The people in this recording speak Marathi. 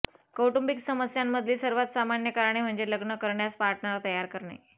कौटुंबिक समस्यांमधील सर्वात सामान्य कारणे म्हणजे लग्न करण्यास पार्टनर तयार करणे